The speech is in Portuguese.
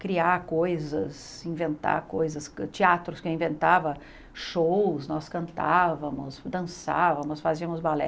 criar coisas, inventar coisas, teatros que eu inventava, shows, nós cantávamos, dançávamos, fazíamos balé.